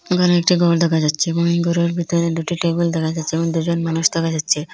এখানে একটি গর দেখা যাচ্ছে ও গরের ভিতরে দুটি টেবিল দেখা যাচ্ছে এবং দুজন মানুষ দেখা যাচ্ছে।